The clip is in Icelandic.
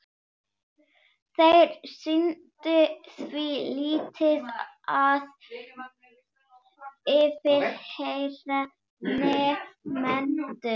Þeir sinntu því lítið að yfirheyra nemendur.